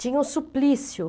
Tinha o suplício.